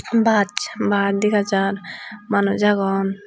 bach baas dega jaar manuj agon.